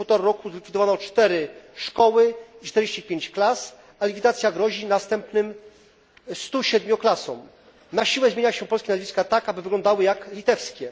W ciągu półtora roku zlikwidowano 4 szkoły, 45 klas, a likwidacja grozi następnym 107 klasom. Na siłę zmienia się polskie nazwiska tak, aby wyglądały one jak litewskie.